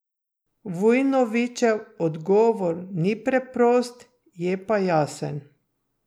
Vojnovićev odgovor ni preprost, je pa jasen.